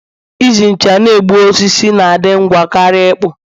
Iji ncha na-egbu osisi na-adị ngwa karịa ịkpụ